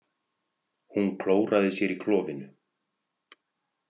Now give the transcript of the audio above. Hún klóraði sér í klofinu.